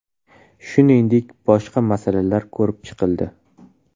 Shuningdek, boshqa masalalar ko‘rib chiqildi.